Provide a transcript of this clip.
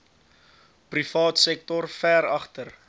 privaatsektor ver agter